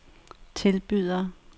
tilbyder